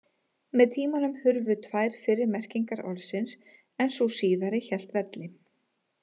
Með tímanum hurfu tvær fyrri merkingar orðsins en sú síðasta hélt velli.